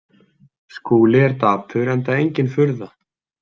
Skúli er dapur enda engin furða.